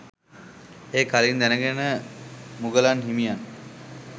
එය කලින් දැනගෙන මුගලන් හිමියන්